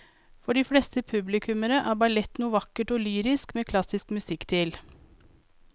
For de fleste publikummere er ballett noe vakkert og lyrisk med klassisk musikk til.